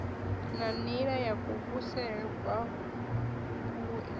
ya nila ya kuvhusele kwavhui